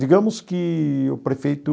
Digamos que o Prefeito